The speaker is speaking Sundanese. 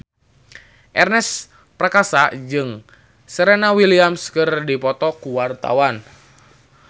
Ernest Prakasa jeung Serena Williams keur dipoto ku wartawan